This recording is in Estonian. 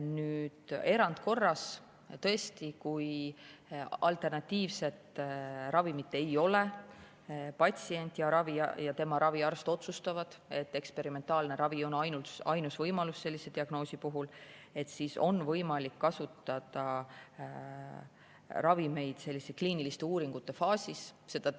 Nüüd, erandkorras, kui alternatiivset ravimit tõesti ei ole, ja patsient ja tema raviarst otsustavad, et eksperimentaalne ravi on ainus võimalus sellise diagnoosi puhul, siis on võimalik kasutada ravimeid kliiniliste uuringute faasis.